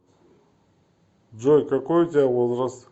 джой какой у тебя возраст